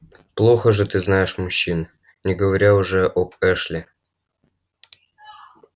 плохо же ты знаешь мужчин не говоря уже об эшли